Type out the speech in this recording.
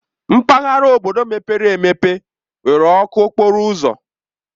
Mpaghara obodo mepere emepe nwere ọkụ okporo ụzọ.